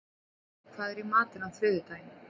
Hrefna, hvað er í matinn á þriðjudaginn?